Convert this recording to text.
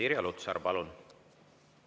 Irja Lutsar, palun!